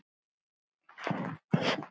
Þær týna sér.